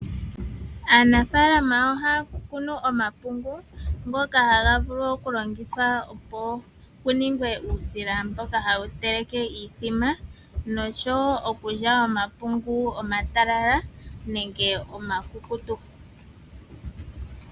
Aanafaalama ohaya kunu omapungu ngoka haga vulu okulongithwa opo puningwe uusila mboka hawu teleke iithima , noshowo okulya omapungu omatalala nenge omakukutu.